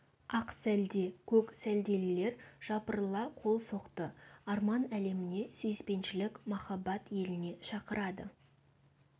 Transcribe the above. ақ сәлде көк сәлделілер жапырыла қол соқты арман әлеміне сүйіспеншілік махаббат еліне шақырады